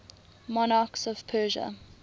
monarchs of persia